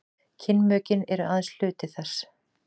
kynmökin eru aðeins hluti þess